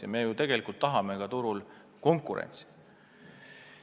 Aga me ju tegelikult tahame turul konkurentsi.